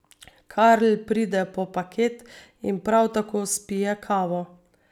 Karl pride po paket in prav tako spije kavo.